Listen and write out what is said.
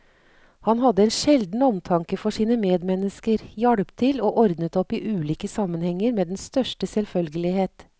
Han hadde en sjelden omtanke for sine medmennesker, hjalp til og ordnet opp i ulike sammenhenger med den største selvfølgelighet.